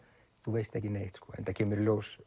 þú veist ekki neitt sko enda kemur í ljós